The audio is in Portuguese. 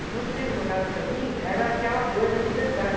Então, Secos e Molhados, para mim, era aquela coisa da liberdade.